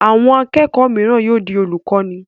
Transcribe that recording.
Àwọn akẹ́kọ̀ọ́ mìíràn yóò di olùkọ́ní.